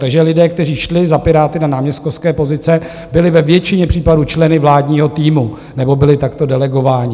Takže lidé, kteří šli za Piráty na náměstkovské pozice, byli ve většině případů členy vládního týmu nebo byli takto delegováni.